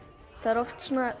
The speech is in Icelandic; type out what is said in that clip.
það er oft